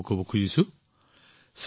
মই আপোনালোকক এই বিষয়েও কব বিচাৰো